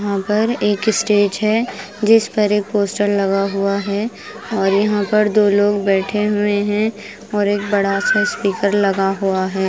यहां पर एक स्टेज है जिस पर एक पोस्टर लगा हुआ है और यहां पर दो लोग बैठे हुए हैं और एक बड़ा सा स्पीकर लगा हुआ है।